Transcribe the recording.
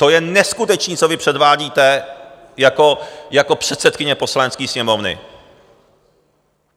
To je neskutečné, co vy předvádíte jako předsedkyně Poslanecké sněmovny!